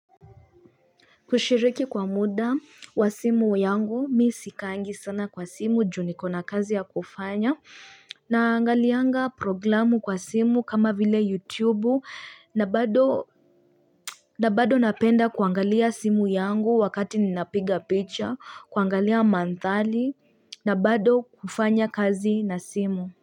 Kushiriki kwa muda wa simu yangu, mi sikaangi sana kwa simu, juu niko na kazi ya kufanya, na angalianga programu kwa simu kama vile YouTube, na bado napenda kuangalia simu yangu wakati ninapiga picture, kuangalia mandhali, na bado kufanya kazi na simu.